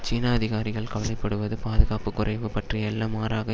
சீன அதிகாரிகள் கவலை படுவது பாதுகாப்பு குறைவு பற்றி அல்ல மாறாக